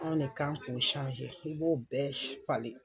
Anw ne kan k'o i b'o bɛɛ falen.